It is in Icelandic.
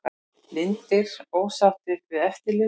Blindir ósáttir við eftirlit